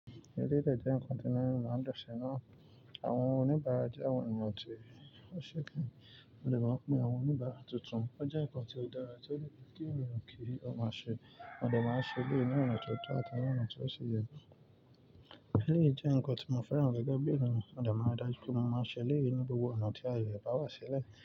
Eléyi de jẹ́ ǹkan tí náà ń lọ sẹ́na. Àwọn oníbàrá jẹ́ àwọn ẹnì tí ó ṣe kán. Wọn lè máa pín àwọn oníbàá tuntun. Ó jẹ́ ǹkan tí ó dára tí ó le gbé ènìyàn kiri. Ó máa ṣe, wọn lè máa ṣe léèní ọ̀nà tó tọ́ àtàwọn ọ̀nà tí ó ṣe yẹ. Eléyi de jẹ́ ǹkan tí mo fẹ́ràn gẹ́gẹ́ bí ènìyàn. Wọn lè máa dájú pé wọn máa ṣe léèní gbogbo ọ̀nà tí a yẹ, bá wá sílẹ̀